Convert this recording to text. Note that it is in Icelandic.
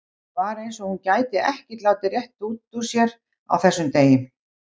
Það var eins og hún gæti ekkert látið rétt út úr sér á þessum degi.